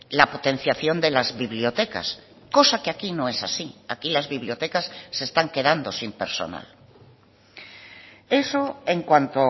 la potenciación de las bibliotecas cosa que aquí no es así aquí las bibliotecas se están quedando sin personal eso en cuanto